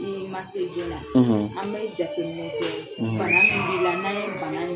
I ma se jona; ; An bɛ jateminɛ kɛ ;; Bana min b' i la; n' an ye bana